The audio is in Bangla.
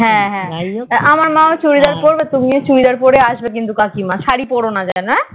হ্যাঁ হ্যাঁ আমার মাও চুড়িদার পড়বে তুমিও কিন্তু চুড়িদার পরে আসবে কাকিমা সারি পড়ো না যেন হ্যাঁ